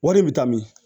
Wari bɛ taa min